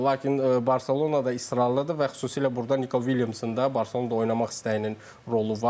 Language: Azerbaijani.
Lakin Barcelona da israrlıdır və xüsusilə burda Niko Williamsın da Barcelonada oynamaq istəyinin rolu var.